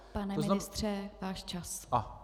Pane ministře, váš čas.